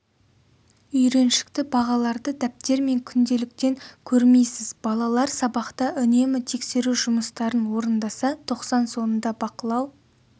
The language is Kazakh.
үйреншікті бағаларды дәптер мен күнделіктен көрмейсіз балалар сабақта үнемі тексеру жұмыстарын орындаса тоқсан соңында бақылау